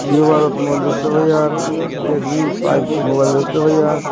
Vivo mobile দেখতে পাই আর রেডমি ফাইভ মোবাইল দেখতে পাই আর।